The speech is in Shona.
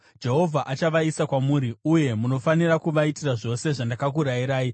Jehovha achavaisa kwamuri, uye munofanira kuvaitira zvose zvandakakurayirai.